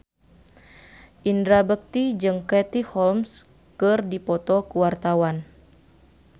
Indra Bekti jeung Katie Holmes keur dipoto ku wartawan